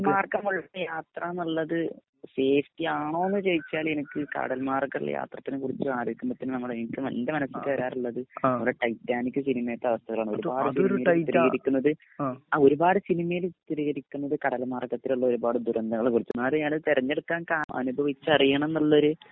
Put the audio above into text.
കടൽ മാർഗമുള്ളയാത്ര എന്നുള്ളത് സേഫ്റ്റിആണോന്നു ചോദിച്ചാല് കടൽമാർഗമുള്ള യാത്രത്തിനെക്കുറിച്ചു ആലോചിക്കുമ്പോത്തന്നെ എന്റെ മനസിക്ക് വരാറുള്ളത് നമ്മുടെ ടൈറ്റാനിക് സിനിമയിത്തെ അവസ്ഥകളാണ് ഒരുപാട് സിനിമയില് ചിത്രീകരിക്കുന്നത് കടൽ മാർഗത്തിലുള്ള ഒരുപാട് ദുരന്തങ്ങളാണ് തിരഞ്ഞെടുക്കാൻ കാരണം അനുഭവിച്ചറിയണം എന്നുള്ളൊരു